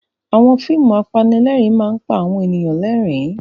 Àwọn fíìmù apanílẹ̀rín máa ń pa àwọn ènìyàn lẹ́rìn-ín.